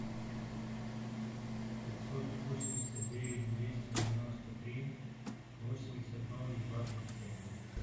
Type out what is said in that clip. пятьсот восемьдесят девять двести девяносто три восемьдесят ноль двадцать семь